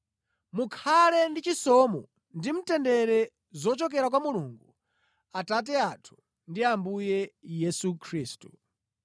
Mukhale ndi chisomo ndi mtendere zochokera kwa Mulungu Atate athu ndi Ambuye Yesu Khristu.